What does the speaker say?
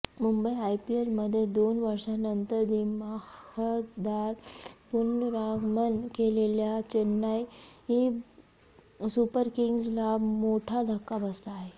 मुंबई आयपीएलमध्ये दोन वर्षांनंतर दिमाखदार पुनरागमन केलेल्या चेन्नई सुपर किंग्जला मोठा धक्का बसला आहे